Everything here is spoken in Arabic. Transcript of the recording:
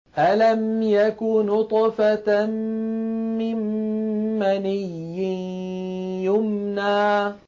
أَلَمْ يَكُ نُطْفَةً مِّن مَّنِيٍّ يُمْنَىٰ